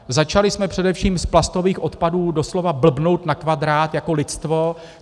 Začali jsme především s plastových odpadů doslova blbnout na kvadrát jako lidstvo.